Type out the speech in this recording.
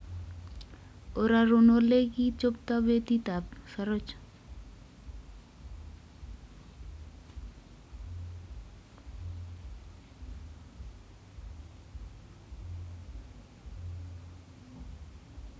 Ororun olekichoptoi betitan ab sarachat